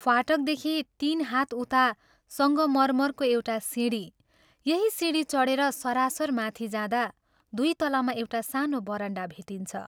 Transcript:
फाटकदेखि तीन हात उता संगमर्मरको एउटा सिंढी यही सिंदी चढेर सरासर माथि जाँदा दुइ तलामा एउटा सानो बरण्डा भेटिन्छ।